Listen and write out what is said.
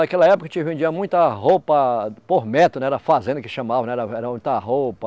Naquela época a gente vendia muita roupa por metro, não é era fazenda que chamavam, era era muita roupa.